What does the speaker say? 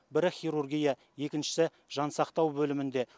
бірі хирургия екіншісі жансақтау бөлімінде